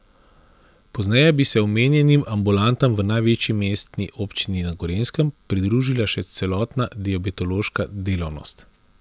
Pozneje bi se omenjenim ambulantam v največji mestni občini na Gorenjskem pridružila še celotna diabetološka delavnost.